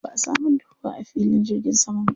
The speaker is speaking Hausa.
Ba a samar da ruwa a filin jirgin saman ba.